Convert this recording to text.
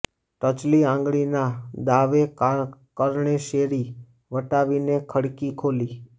ટચલી આંગળીના દાવે કરણે શેરી વટાવીને ખડકી ખોલી